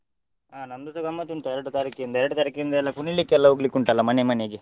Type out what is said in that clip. ಹಾ ನಮ್ದುಸ ಗಮ್ಮತ್ ಉಂಟು ಎರಡು ತಾರೀಕ್ಯಿಂದ. ಎರಡು ತಾರೀಕ್ಯಿಂದ ಎಲ್ಲ ಕುಣಿಲಿಕ್ಕೆ ಎಲ್ಲ ಹೋಗ್ಲಿಕ್ಕೆ ಉಂಟಲ್ಲ ಮನೆ ಮನೆಗೆ .